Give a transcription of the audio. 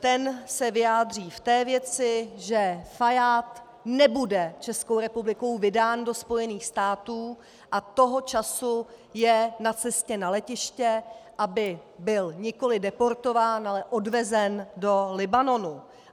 Ten se vyjádří v té věci, že Fajád nebude Českou republikou vydán do Spojených států a toho času je na cestě na letiště, aby byl nikoliv deportován, ale odvezen do Libanonu.